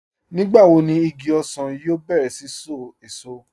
Nígbàwò ní ìgí òṣan yóò bẹ̀rẹ̀ sí ṣó èṣọ̀?